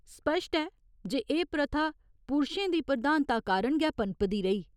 स्पश्ट ऐ जे एह् प्रथा पुरशें दी प्रधानता कारण गै पनपदी रेही।